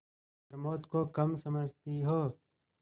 प्रमोद को कम समझती हो